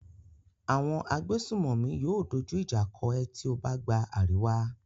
Àwọn agbésùnmòmí yóò dójú ìjà kọ ẹ tí ó bá gba àríwá.